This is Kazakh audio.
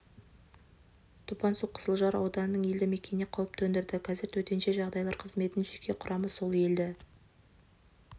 топан су қызылжар ауданының елді мекеніне қауіп төндірді қазір төтенше жағдайлар қызметінің жеке құрамы сол елді